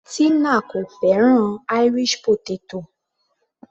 Tina kò fẹ́ràn Irish potato.